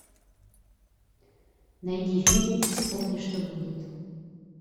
найди фильм вспомни что будет